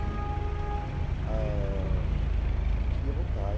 E, ãh, não queria voltar.